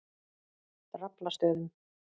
Draflastöðum